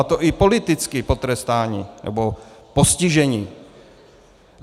A to i politicky potrestáni, nebo postiženi.